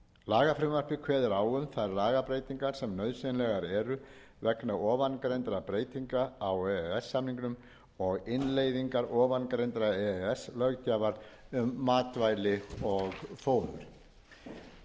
lagafrumvarpið kveður á um þær lagabreytingar sem nauðsynlegar eru vegna ofangreindra breytinga á e e s samningnum og innleiðingar ofangreindrar e e s löggjafar um matvæli